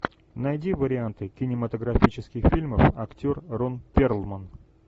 найди варианты кинематографических фильмов актер рон перлман